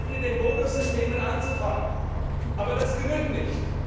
Es ist gut, mit Bonussystemen anzufangen, aber das genügt nicht.